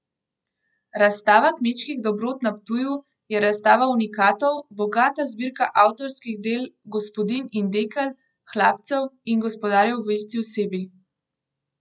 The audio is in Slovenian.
Razstava kmečkih dobrot na Ptuju je razstava unikatov, bogata zbirka avtorskih del gospodinj in dekel, hlapcev in gospodarjev v isti osebi.